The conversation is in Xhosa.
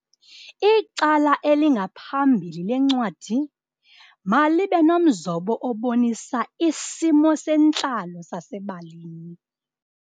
Icala elingaphambili lencwadi malibe nomzobo obonisa isimo sentlalo sasebalini.